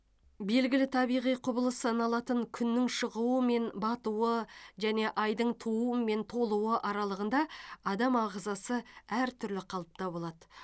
белгілі табиғи құбылыс саналатын күннің шығуы мен батуы және айдың тууы мен толуы аралығында адам ағзасы әртүрлі қалыпта болады